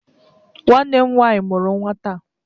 Nwanne m nwanyị mụrụ nnwa taa